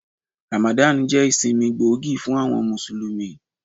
Ramadan jẹ́ ìsinmi gbòógì fún àwọn Mùsùlùmí.